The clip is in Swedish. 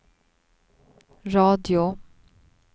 radio